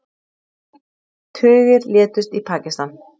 Tugir létust í Pakistan